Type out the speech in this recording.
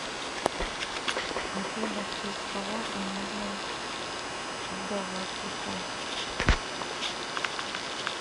афина в честь кого назван вдова клико